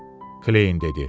Kleyin dedi.